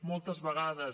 moltes vegades